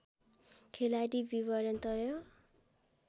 खेलाडी विवरण तय